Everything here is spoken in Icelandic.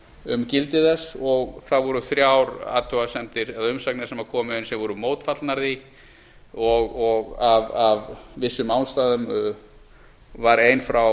um gildi þess og það voru hjá athugasemdir eða umsagnir sem komu inn sem voru mótfallnar því og af vissum ástæðum var ein